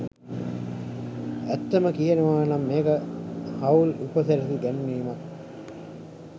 ඇත්තම කියනවනම් මේක හවුල් උපසිරැසි ගැන්වීමක්.